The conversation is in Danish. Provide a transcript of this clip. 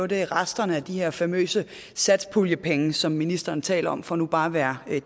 det er resterne af de her famøse satspuljepenge som ministeren taler om for nu bare at være